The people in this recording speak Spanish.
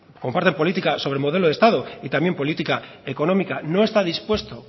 comparten política sobre el modelo de estado y también política económica no está dispuesto